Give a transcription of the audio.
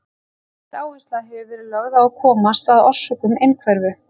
Mikil áhersla hefur verið lögð á að komast að orsökum einhverfu.